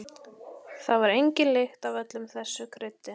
Það var engin lykt af öllu þessu kryddi.